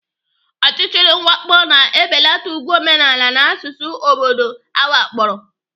Ọchịchịrị mwakpo na-ebelata ùgwù omenala na asụsụ obodo awakporo.